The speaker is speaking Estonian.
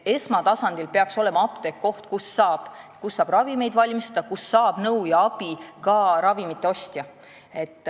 Esmatasandil peaks apteek olema see koht, kus saab ravimeid valmistada, kust saab nõu ja abi ka ravimite ostja.